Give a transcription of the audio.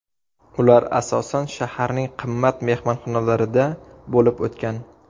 Ular asosan shaharning qimmat mehmonxonalarida bo‘lib o‘tgan.